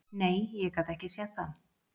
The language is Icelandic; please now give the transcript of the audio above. Nei, ég gat ekki séð það.